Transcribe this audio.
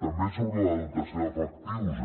també sobre la dotació d’efectius